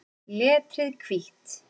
Letrið hvítt.